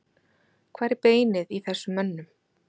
Hvar er beinið í þessum mönnum?